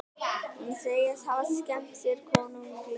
Hún segist hafa skemmt sér konunglega